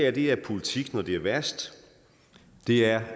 er det her politik når det er værst det er